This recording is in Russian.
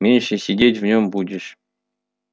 меньше сидеть в нём будешь